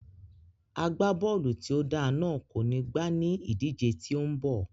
Agbábọ́ọ̀lù tí ó dáa náà kò ní gbá ní ìdíje tí ó ń bọ̀